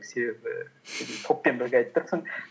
себебі топпен бірге айтып тұрсың